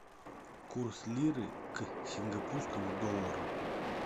курс лиры к сингапурскому доллару